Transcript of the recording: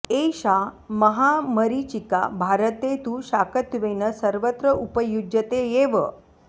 एषा महामरीचिका भारते तु शाकत्वेन सर्वत्र उपयुज्यते एव